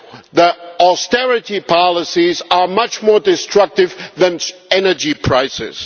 The austerity policies are much more destructive than energy prices.